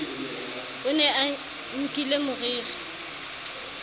o ne a nkile moriri